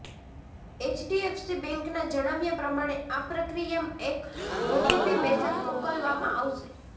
HDFC બેંકના જણાવ્યા પ્રમાણે આ પ્રક્રિયામાં એક ઓટીપી મેસેજ મોકલવામાં આવશે